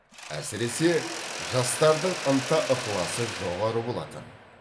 әсіресе жастардың ынта ықыласы жоғары болатын